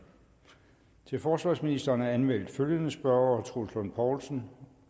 til forsvarsministeren er anmeldt følgende spørgere troels lund poulsen